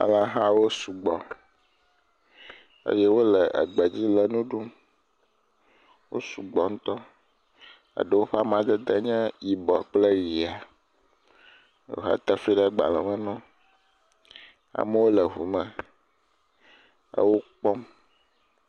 Alẽhawo sugbɔ eye wole gbe dzi le nu ɖum. Wosugbɔ ŋutɔ. Ɖewo ƒe amadede nye yibɔ kple ʋia. He te fli ɖe gbalẽme na wo. Amewo le ŋu me ewo kpɔm.